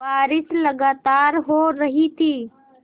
बारिश लगातार हो रही थी